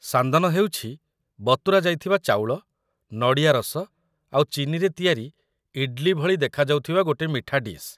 ସାନ୍ଦନ ହେଉଛି ବତୁରା ଯାଇଥିବା ଚାଉଳ, ନଡ଼ିଆ ରସ ଆଉ ଚିନିରେ ତିଆରି ଇଡ୍‌ଲି ଭଳି ଦେଖାଯାଉଥିବା ଗୋଟେ ମିଠା ଡିଶ୍ ।